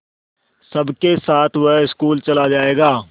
सबके साथ वह स्कूल चला जायेगा